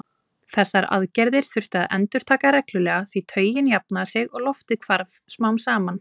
Þessar aðgerðir þurfti að endurtaka reglulega því taugin jafnaði sig og loftið hvarf smám saman.